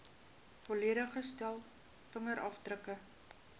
volledige stel vingerafdrukke